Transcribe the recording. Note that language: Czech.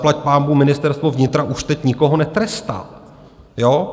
Zaplať pánbůh, Ministerstvo vnitra už teď nikoho netrestá.